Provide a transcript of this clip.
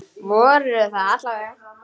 Voru það alla vega.